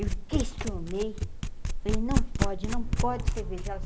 Eu questionei, falei, não pode, não pode ser virgem. ela disse